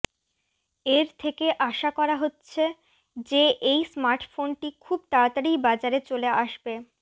এর থেকে আসা করা হচ্ছে যে এই স্মার্টফোনটি খুব তাড়াতাড়িই বাজারে চলে আসবে